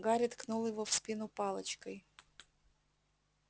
гарри ткнул его в спину палочкой